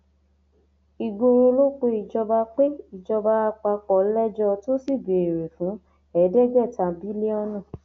ìgboro ló pe ìjọba pe ìjọba àpapọ lẹjọ tó sì béèrè fún ẹẹdẹgbẹta bílíọnù